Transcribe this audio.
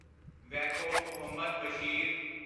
Vaikom Muhammad Bashir